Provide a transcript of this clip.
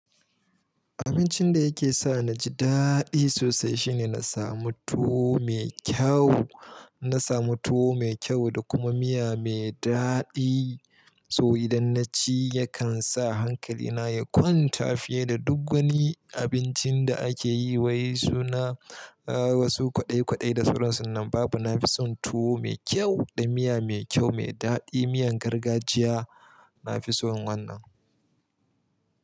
Abincin da yake sa na ji daɗi sosai, shine na samu tuwo mai kyau, in na samu tuwo mai kyau da kuma miya mai daɗi. To idan naci, yakan sa hankali na ya kwanta, fiye da duk wani abincin da ake yi wai suna wasu kwaɗai kwaɗai da sauransu in nan babu Nafison tuwo mai kyau, da miya mai kyau mai daɗi, miyan gargajiya nafison wannan.